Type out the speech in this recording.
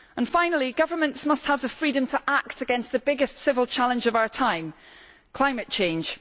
Finally, governments must have the freedom to act against the biggest civil challenge of our time climate change.